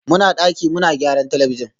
muna daki muna gyaran talabijin